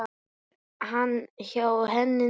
Er hann hjá henni núna?